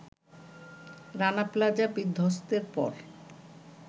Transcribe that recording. Rana Plaza বিধ্বস্তের পর